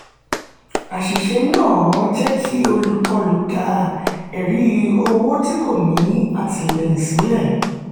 àṣìṣe náà jẹ́ kí olùkọlù dá ẹ̀rí owó tí kò ní àtìlẹyìn sílẹ̀.